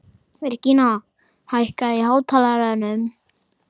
Virginía, hækkaðu í hátalaranum.